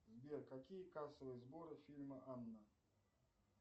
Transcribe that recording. сбер какие кассовые сборы фильма анна